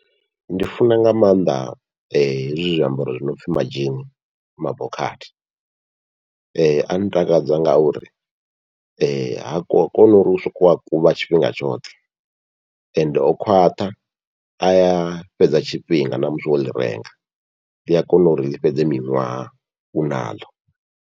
Ndi funa nga maanḓa hezwi zwiambaro zwi nopfhi madzhini mabokhathi, a ntakadza ngauri ha koni uri u soko kuvha tshifhinga tshoṱhe, ende o khwaṱha aya fhedza tshifhinga namusi wo ḽi renga ḽia kona uri ḽi fhedze miṅwaha u naḽo.